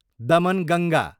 Damanganga